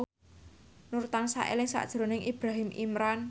Nur tansah eling sakjroning Ibrahim Imran